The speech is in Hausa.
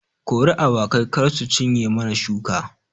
Kori awakai kar su cinye mana shuka